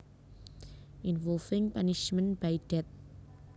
Involving punishment by death